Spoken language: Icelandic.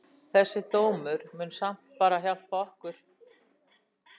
Þessi dómur mun samt bara hjálpa okkur.